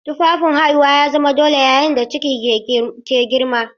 Tufafin haihuwa ya zama dole yayin da ciki ke girma.